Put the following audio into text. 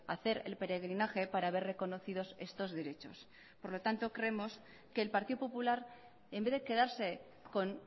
a hacer el peregrinaje para ver reconocidos estos derechos por lo tanto creemos que el partido popular en vez de quedarse con